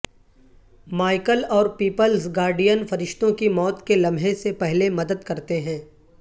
Michael اور people's guardian فرشتوں کی موت کے لمحے سے پہلے مدد کرتے ہیں